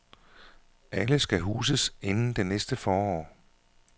Alle skal huses inden næste forår.